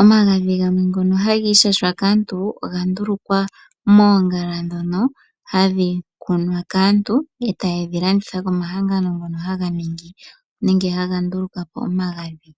omagadhi ngono haga ishashwa kaantu oga ndulukwapo moongala. Ohaye dhi landitha komahangàno ngono haga nduluka omagadhi.